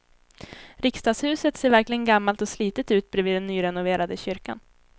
Riksdagshuset ser verkligen gammalt och slitet ut bredvid den nyrenoverade kyrkan.